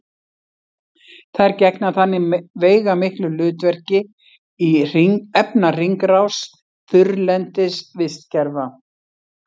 þær gegna þannig veigamiklu hlutverki í efnahringrás þurrlendis vistkerfa